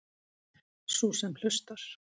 Sú sem hlustar.